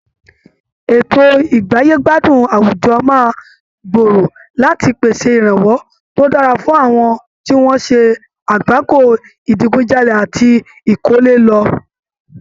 Ètò ìgbáyé-gbádùn àwùjọ máa gbòòrò láti pèsè ìrànwọ́ tó dára fún àwọn tí wọ́n ṣe àgbákòo ìdigunjalè àti ìkọ́lé lọ.